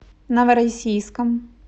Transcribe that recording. новороссийском